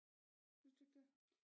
Synes du ikke det